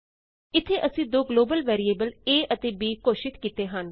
ਇਥੇ ਅਸੀਂ ਦੋ ਗਲੋਬਲ ਵੈਰੀਏਬਲ a ਅਤੇ b ਘੋਸ਼ਿਤ ਕੀਤੇ ਹਨ